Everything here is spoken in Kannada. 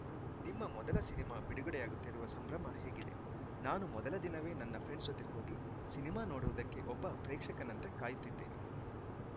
ನಿಮ್ಮ ಮೊದಲ ಸಿನಿಮಾ ಬಿಡುಗಡೆಯಾಗುತ್ತಿರುವ ಸಂಭ್ರಮ ಹೇಗಿದೆ ನಾನು ಮೊದಲ ದಿನವೇ ನನ್ನ ಫ್ರೆಂಡ್ಸ್‌ ಜತೆ ಹೋಗಿ ಸಿನಿಮಾ ನೋಡುವುದಕ್ಕೆ ಒಬ್ಬ ಪ್ರೇಕ್ಷಕನಂತೆ ಕಾಯುತ್ತಿದ್ದೇನೆ